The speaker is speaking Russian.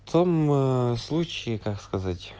там случаи ээ как сказать